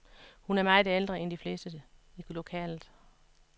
Hun er meget ældre end de fleste i lokalet.